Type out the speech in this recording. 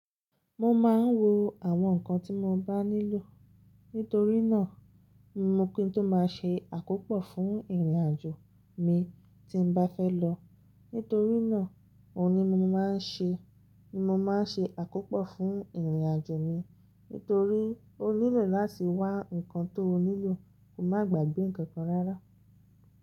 Mo máa ń wo àwọn nǹkan tí mo bá nílò nítorí náà mo ki n tó máa ṣe àkópọ̀ fún ìrìnàjò mi tí bá fẹ́ lọ. Nítorí náà, òun ni mo máa ń ṣe, ni mo máa ń ṣe àkópọ̀ fún ìrìnàjò mi nítorí ó nílò láti wá nǹkan tó nílò kó má gbàgbé ǹkankan rárá.